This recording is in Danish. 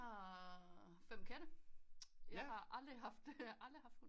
Vi har fem katte jeg har aldrig haft hund